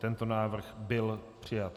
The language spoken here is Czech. Tento návrh byl přijat.